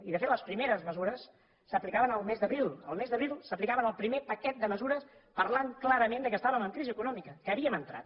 i de fet les primeres mesures s’aplicaven el mes d’abril el mes d’abril s’aplicava el primer paquet de mesures parlant clarament que estàvem en crisi econòmica que hi havíem entrat